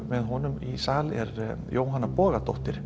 með honum í sal er Jóhanna Bogadóttir